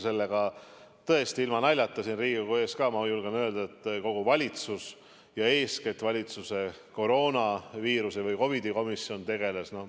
Sellega tõesti, ilma naljata, ka siin Riigikogu ees ma julgen öelda, et kogu valitsus ja eeskätt valitsuse COVID-i komisjon tegeles.